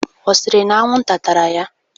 Ọ sịrị na anwụnta tara ya?